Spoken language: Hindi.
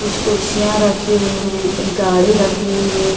कुछ कुर्सियाँ राखी हुई है एक गाडी रखी हुई है।